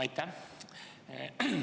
Aitäh!